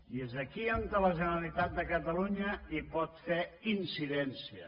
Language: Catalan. i és on aquí la generalitat de catalunya hi pot fer incidència